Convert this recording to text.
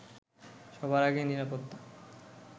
সবার আগে নিরাপত্তা